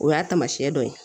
O y'a taamasiyɛn dɔ ye